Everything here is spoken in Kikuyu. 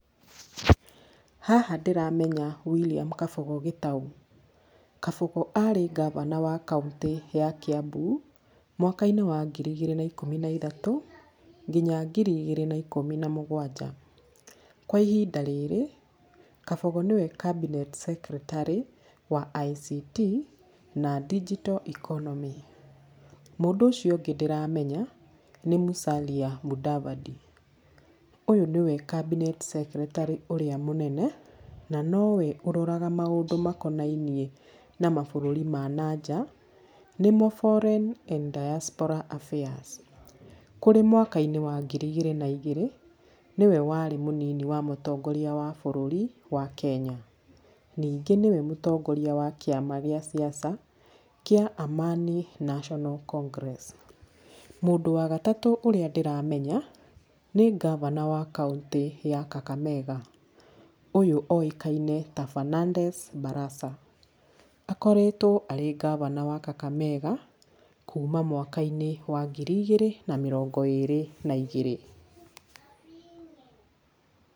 Haha ndĩramenya William Kabogo Gitau. Kabogo arĩ gabana wa kaũntĩ ya Kiambu mwaka-inĩ wa ngiri igĩrĩ na ikũmi na ithatũ nginya ngiri igĩrĩ na ikũmi na mũgwanja. Kwa ihinda rĩrĩ, Kabogo nĩwe cabinet secretary wa ICT na digital economy. Mũndũ ũcio ũngĩ ndĩramenya nĩ Musalia Mudavadi. Ũyũ nĩwe cabinet secretary ũrĩa mũnene na nowe ũroraga maũndũ makonainiĩ na mabũrũri ma na nja nĩmo foreign and diaspora affairs. Kũrĩ mwaka-inĩ wa ngiri igĩri na igĩri nĩwe warĩ mũnini wa mũtongoria wa bũrũri wa Kenya. Ningi nĩwe mũtongoria wa kĩama gĩa siasa kĩa Amani National Congress. Mũndũ wa gatatũ ũrĩa ndĩramenya, nĩ gabana wa kaũntĩ ya Kakamega. Ũyũ oĩkaine ta Fernandes Barasa. Akoretwo arĩ gabana wa Kakamega, kũũma mwaka-inĩ wa ngĩrĩ igiri na mĩrongo ĩrĩ na igĩrĩ.